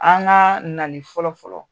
An ka nali fɔlɔfɔlɔ